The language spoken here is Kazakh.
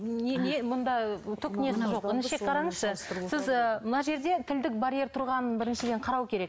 не не мұнда түк несі жоқ інішек қараңызшы сіз ы мына жерде тілдік барьер тұрғанын біріншіден қарау керек